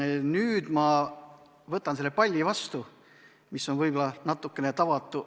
Ja nüüd ma võtan selle palli vastu, mis on võib-olla natukene tavatu.